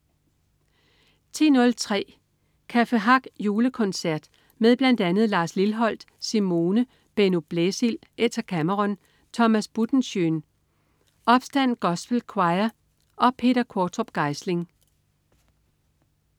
10.03 Café Hack Julekoncert. Med bl.a. Lars Lilholt, Simone, Benno Blæsild, Etta Cameron, Thomas Buttenschøn, Opstand Gospel Choir og Peter Quortrup Geisling